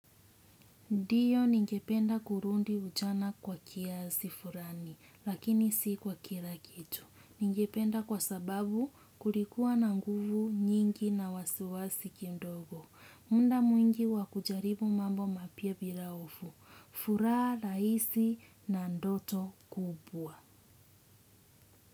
Ndiyo ningependa kurudi ujana kwa kiasi fulani lakini si kwa kila kitu. Ningependa kwa sababu kulikuwa na nguvu nyingi na wasiwasi kidogo. Muda mwingi wa kujaribu mambo mapya bila hofu. Furaha rahisi na ndoto kubwa.